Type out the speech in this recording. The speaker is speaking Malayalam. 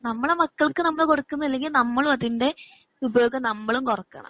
നമ്മളെ മക്കൾക്ക് നമ്മൾ കൊടുക്കുന്നില്ലങ്കിൽ നമ്മളും അതിന്റെ ഉപയോഗം നമ്മളും കുറക്കണം